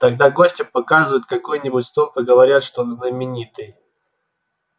тогда гостю показывают какой нибудь столб и говорят что он знаменитый